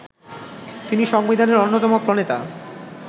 তিনি সংবিধানের অন্যতম প্রণেতা